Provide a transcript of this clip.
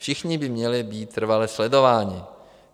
Všichni by měli být trvale sledováni.